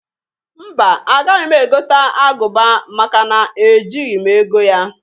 Mba! Agaghị m egota agụba maka na-ejighi m ego ya.